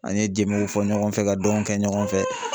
An ye jembew fɔ ɲɔgɔn fɛ, ka dɔnw kɛ ɲɔgɔn fɛ.